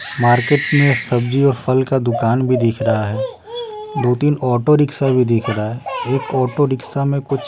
market में सब्जी और फल का दुकान भी दिख रहा है दो-तीन ऑटो रिक्शा भी दिख रहा है एक ऑटो रिक्शा में कुछ --